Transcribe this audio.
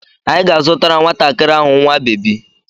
Anyị ga-azụtara nwatakiri nwa bebi.